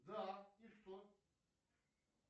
да и что